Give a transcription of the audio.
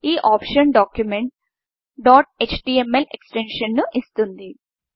ఈ ఆప్షన్ డాక్యుమెంట్ను dot HTML ఎక్స్ టెన్షన్ను ఇస్తుంది